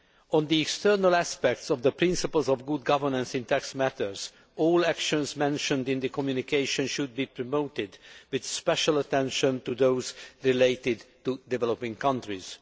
On the external aspects of the principles of good governance in tax matters, all actions mentioned in the communication should be promoted, with special attention to those related to developing countries.